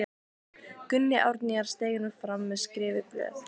Gunni Árnýjar steig nú fram með skrifuð blöð.